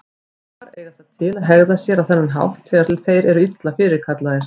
Apar eiga það til að hegða sér á þennan hátt þegar þeir eru illa fyrirkallaðir.